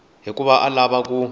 hikuva a a lava ku